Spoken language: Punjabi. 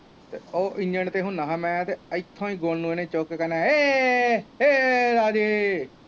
ਤੇ ਉਹ ਇੰਗਣ ਤੇ ਹੁਣਾ ਹਾਂ ਮੈਂ ਤੇ ਇਥੋਂ ਈ ਗੋਨੂੰ ਚੁੱਕ ਕ ਕਹਿਣਾ ਰਾਜੇ